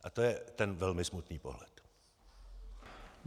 A to je ten velmi smutný pohled.